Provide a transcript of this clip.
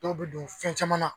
Dɔw bi don fɛn caman na.